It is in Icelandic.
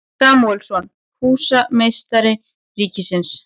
Samúelsson, húsameistari ríkisins.